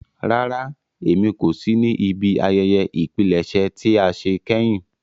Rárá, Émi ko si ni ibi àyẹyẹ ìpilẹṣẹ tia ṣe kẹhin.